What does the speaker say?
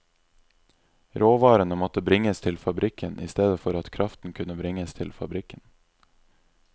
Råvarene måtte bringes til fabrikken i stedet for at kraften kunne bringes til fabrikken.